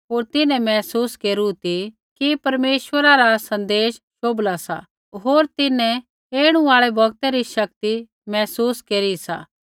होर तिन्हैं महसूस केरू ती कि परमेश्वरा रा सन्देश शोभला सा होर तिन्हैं ऐणु आल़ै बौगता री शक्ति महसूस केरी सा